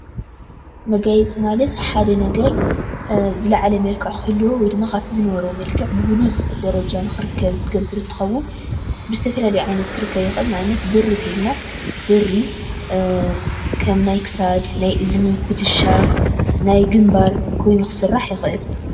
መጋየፂ ማለት ሓደ ነገር ዝላዓለ መልክዕ ክህልዎ ወይድማ ካብቲ ዝነበሮ መልክዕ ብሉፅ ደረጃ ንኽርከብ ዝገብር እንትኸውን ብዝተፈላለዩ ክርከብ ንኽእል፡፡ ንኣብነት ብሪ እንተይልና ብሪ ከም ናይ ክሳድ፣ ናይእዝኒ ፣ኩትሻ፣ ናይ ግንባር ኮይኑ ክስራሕ ይኽእል፡፡